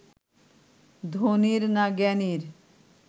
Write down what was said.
ধনীর না জ্ঞানীর